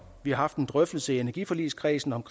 vi har haft en drøftelse i energiforligskredsen om